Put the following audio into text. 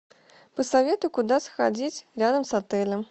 посоветуй куда сходить рядом с отелем